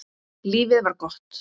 Lífið var gott.